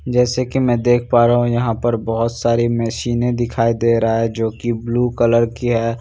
जैसे कि मैं देख पा रहा हूं यहां पर बहोत सारी मशीनें दिखाई दे रहा है जो की ब्लू कलर की है।